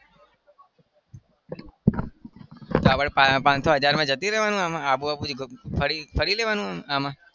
અલ્યા પણ પાંચસો હજારમાં જતું રહેવાનું આબુ આબુ ફરી ફરી લેવાનું આમાં?